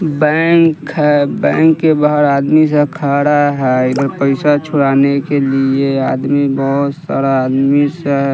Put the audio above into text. bank है bank के बाहर आदमी सब खड़ा है इधर पैसा छुड़ाने के लिए आदमी बहुत सारा आदमी से--